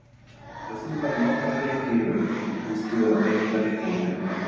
Þegar þú færð nokkra leiki í röð finnst þú vera beittari og í betra formi.